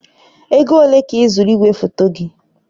Ego ole ka ịzụrụ igwefoto gị?